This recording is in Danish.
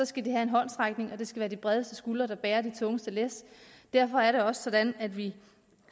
skal de have en håndsrækning og det skal være de bredeste skuldre der bærer det tungeste læs derfor er det også sådan at vi